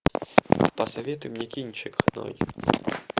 посоветуй мне кинчик